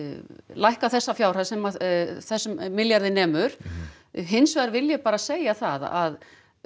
lækka þessa fjárhæð sem þessum milljarði nemur hins vegar vil ég bara segja það að